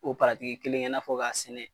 O paratiki kelen kɛ n'a fɔ k'a sɛnɛ